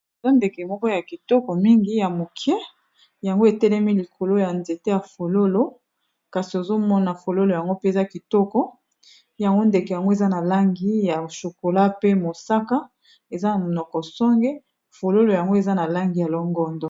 eza ndeke moko ya kitoko mingi ya mokie yango etelemi likolo ya nzete ya fololo kasi ozomona fololo yango mpeza kitoko yango ndeke yango eza na langi ya chokola pe mosaka eza na monoko songe fololo yango eza na langi ya longondo